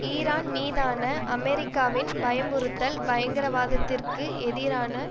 Iran மீதான அமெரிக்காவின் பயமுறுத்தல் பயங்கரவாதத்திற்கு எதிரான